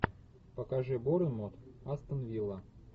покажи борнмут астон вилла